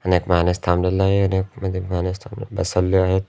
आणि एक माणूस थांबलेला आहे आणि यामध्ये अ माणूस म बसवले आहेत.